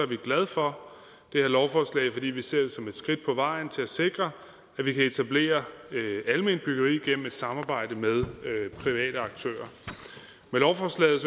vi glade for det her lovforslag fordi vi ser det som et skridt på vejen til at sikre at vi kan etablere alment byggeri gennem et samarbejde mellem private aktører med lovforslaget